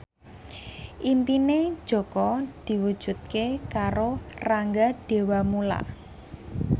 impine Jaka diwujudke karo Rangga Dewamoela